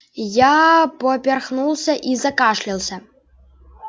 я поперхнулся и закашлялся